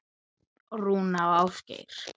Rúna og Ásgeir.